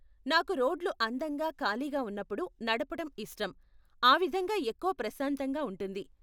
నాకు రోడ్లు అందంగా ఖాళీగా ఉన్నప్పుడు నడపటం ఇష్టం, ఆ విధంగా ఎక్కువ ప్రశాంతంగా ఉంటుంది.